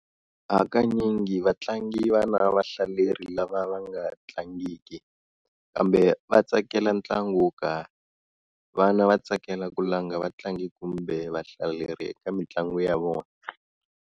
Hakanyingi vatlangi vana vahlaleri lava vanga tlangiki, kambe vatsakela ntlangu wokarhi. Vana vatsekala ku langa vatlangi kumbe vahlaleri eka mintlangu ya vona.